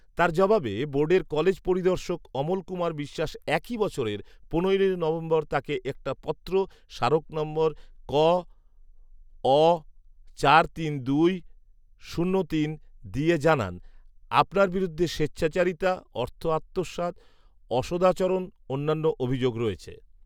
তার জবাবে বোর্ডের কলেজ পরিদর্শক অমল কুমার বিশ্বাস একই বছরের পনেরোই নভেম্বর তাকে একটা পত্র, স্মারক নং কঅ চার তিন দুই শূন্য তিন দিয়ে জানান, ‘আপনার বিরুদ্ধে স্বেচ্ছাচারিতা, অর্থ আত্মসাৎ, অসদাচারণসহ অন্যান্য অভিযোগ রয়েছে'।